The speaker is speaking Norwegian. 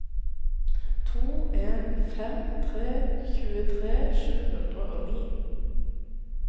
to en fem tre tjuetre sju hundre og ni